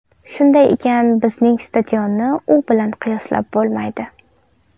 Shunday ekan, bizning stadionni u bilan qiyoslab bo‘lmaydi.